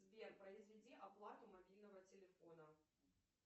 сбер произведи оплату мобильного телефона